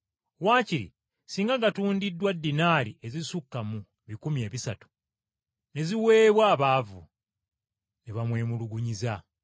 Wakiri singa gatundiddwa dinaali ezisukka mu bikumi ebisatu, ne ziweebwa abaavu!” Ne bamwemulugunyiza.